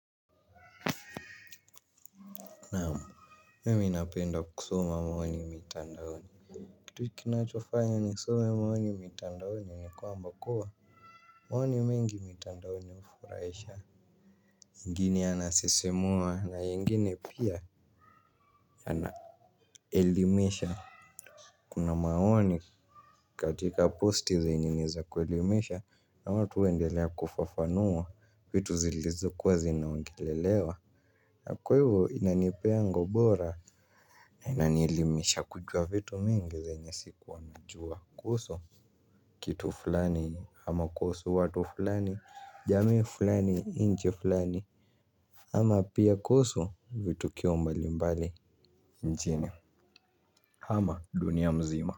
Naam. Mimi napenda kusoma maoni mitandaomi. Kitu kinachofanya nisome maoni mitandaoni nikwamba kuwa maoni mengi mitandaoni hufuraisha. Ngine yanasisimua na yengine pia anaelimisha. Kuna maoni katika posti zenye niza kuelimesha na watu huendelea kufafanua vitu zilizo kuwa zinaongelelewa. Na kwa hivyo inanipea ngobora na inanielimisha kujua vitu mingi zenyesikuwa najua kuhusu kitu fulani ama kuhusu watu fulani jamii fulani nchi fulani ama pia koso vitukio mbali mbali nchini ama dunia mzima.